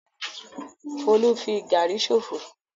Folú fi gàrí ṣòfò.